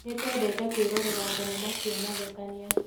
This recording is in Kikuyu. Nĩtwendete kwĩrorera thenema cia mathekania